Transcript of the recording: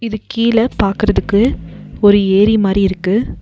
அதுக் கீழ பாக்குறதுக்கு ஒரு ஏரி மாரி இருக்கு.